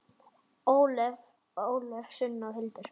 Ólöf, Sunna og Hildur.